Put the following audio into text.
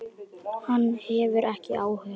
Hann hefur ekki áhuga.